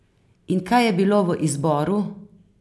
In kaj je bilo v izboru?